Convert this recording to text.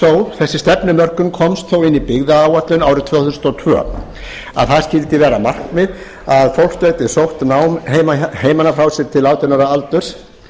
þó þessi stefnumörkun komst þó inn í byggðaáætlun árið tvö þúsund og tvö að það skyldi vera markmið að fólk gæti sótt nám heiman að frá sér til átján ára aldurs